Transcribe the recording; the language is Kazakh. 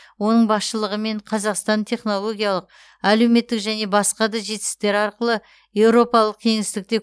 оның басшылығымен қазақстан технологиялық әлеуметтік және басқа да жетістіктер арқылы еуропалық кеңістікте